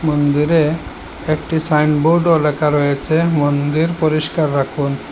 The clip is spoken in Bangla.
মন্দিরে একটি সাইনবোর্ডও লেখা রয়েছে মন্দির পরিষ্কার রাখুন।